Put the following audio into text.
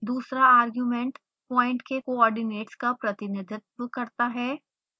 दूसरा argument point के coordinates का प्रतिनिधित्व करता है